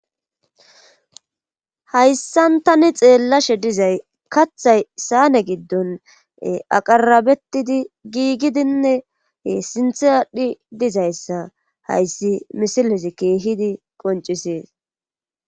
hayssan tani xeellashe dizay kathay saane giddon aqarabetidi giigidinne sinththan dizayssa hayssi misilezi keehidi qoncisees.